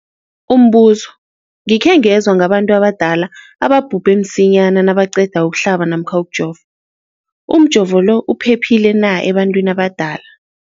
Umbuzo, ngikhe ngezwa ngabantu abadala ababhubhe msinyana nabaqeda ukuhlaba namkha ukujova. Umjovo lo uphephile na ebantwini abadala?